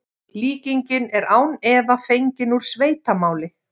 Líkingin er án efa fengin úr sveitamáli.